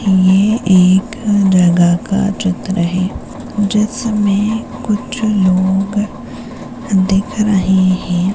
ये एक जगह का चित्र है जिसमें कुछ लोग दिख रहे हैं।